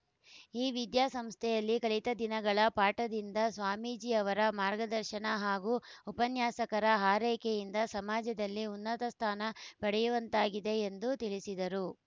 ಈ ವಿದ್ಯಾಸಂಸ್ಥೆಯಲ್ಲಿ ಕಲಿತ ದಿನಗಳ ಪಾಠದಿಂದ ಸ್ವಾಮೀಜಿ ಅವರ ಮಾರ್ಗದರ್ಶನ ಹಾಗೂ ಉಪನ್ಯಾಸಕರ ಹಾರೈಕೆಯಿಂದ ಸಮಾಜದಲ್ಲಿ ಉನ್ನತ ಸ್ಥಾನ ಪಡೆಯುವಂತಾಗಿದೆ ಎಂದು ತಿಳಿಸಿದರು